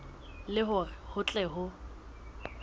le hore ho tle ho